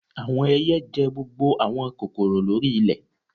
Awọn ẹiyẹ jẹ gbogbo awọn kokoro lori ilẹ